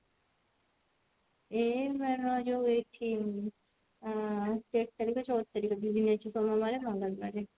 ଏଇ ମେଳଣ ଯଉ ଏଠି ଉଁ ତେର ତାରିଖ ଚଉଦ ତାରିଖ ଅଛି ସୋମବାରେ ରବିବାରେ